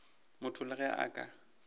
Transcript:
motho le ge a ka